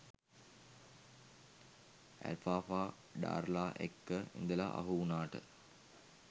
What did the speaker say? Alfalfa ඩාර්ලා එක්ක ඉදල අහු උනාට